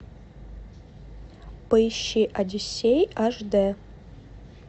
поищи одиссей аш дэ